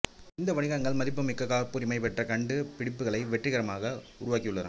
இந்த வணிகங்கள் மதிப்புமிக்க காப்புரிமை பெற்ற கண்டுபிடிப்புகளை வெற்றிகரமாக உருவாக்கியுள்ளன